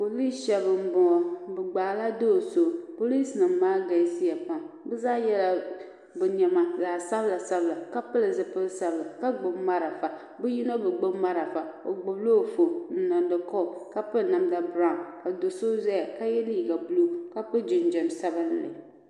Poliis shɛba n bɔŋo bi gbaagi la doo so poliis nim maa galisi ya pam bi zaa yɛla bi niɛma zaɣa sabila sabila ka pili zipili sabila ka gbubi marafa bi yino bi gbubi marafa o gbubi la o fooni n niŋda kɔl ka piri namda birawu ka doo so zaya ka yɛ liiga buluu ka so jinjam sabinli.